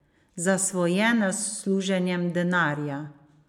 Zasvojenost s služenjem denarja.